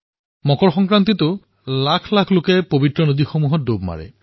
মকৰ সংক্ৰান্তিতো লক্ষকোটি লোকে পবিত্ৰ নদীত ডুব মাৰে